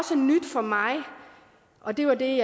for mig og det var det